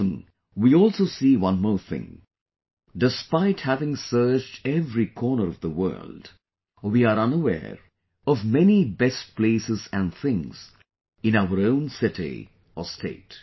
Often we also see one more thing...despite having searched every corner of the world, we are unaware of many best places and things in our own city or state